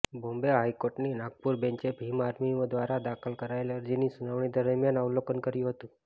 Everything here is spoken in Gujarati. બોમ્બે હાઈકોર્ટની નાગપુર બેંચે ભીમ આર્મી દ્વારા દાખલ કરાયેલ અરજીની સુનાવણી દરમિયાન અવલોકન કર્યું હતું